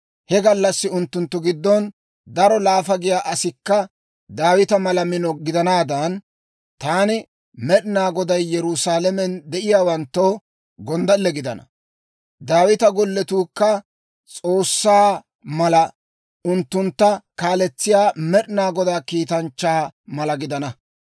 He gallassi unttunttu giddon daro laafa giyaa asikka Daawita mala mino gidanaadan, taani Med'inaa Goday Yerusaalamen de'iyaawanttoo gonddalle gidana. Daawita golletuukka S'oossaa mala, unttuntta kaaletsiyaa Med'inaa Godaa kiitanchchaa mala gidana.